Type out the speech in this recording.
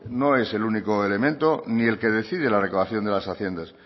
no es el único elemento ni el que decide la recaudación de las haciendas